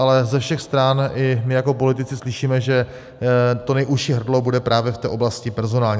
Ale ze všech stran i my jako politici slyšíme, že to nejužší hrdlo bude právě v té oblasti personální.